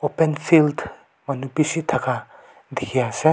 open field manu bishi thaka dikhi ase.